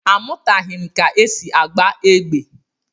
Amụtaghị m ka e si agba égbè.